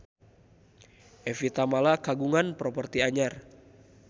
Evie Tamala kagungan properti anyar